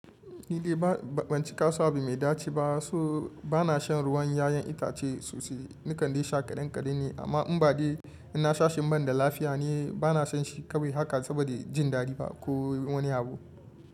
Ni dai ba ban ci kason abu mai daci ba so bana shan ruwan yayan itace sosai. Na kande sha kaɗan kaɗan ne amma in ba de ina sha shi im banda lafiya ne bana shan shi kawai haka saboda jin daɗi fa ko wani abu.